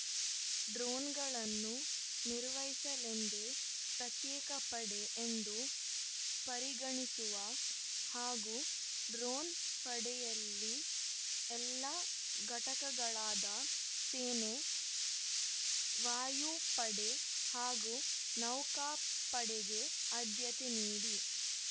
ಡ್ರೋನ್‌ಗಳನ್ನು ನಿರ್ವಹಿಸದಂದೇ ಪ್ರತ್ಯೇಕ ಪಡೆ ಎಂದು ಪರಿಗಣಿಸುವ ಹಾಗೂ ಡ್ರೋನ್‌ ಪಡೆಯಲ್ಲಿ ಎಲ್ಲ ಘಟಕಗಳಾದ ಸೇನೆ ವಾಯುಪಡೆ ಹಾಗೂ ನೌಕಾಪಡೆಗೆ ಆದ್ಯತೆ ನೀಡಿ